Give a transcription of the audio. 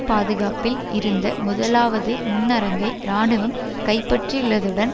பாதுகாப்பில் இருந்த முதலாவது முன்னரங்கை இராணுவம் கைப்பற்றியுள்ளதுடன்